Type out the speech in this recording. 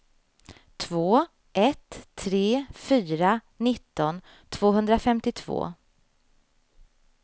två ett tre fyra nitton tvåhundrafemtiotvå